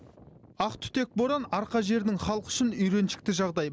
ақтүтек боран арқа жерінің халқы үшін үйреншікті жағдай